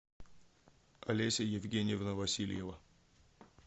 олеся евгеньевна васильева